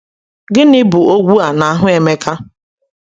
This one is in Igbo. Gịnị bụ ogwu a n’ahụ Emeka?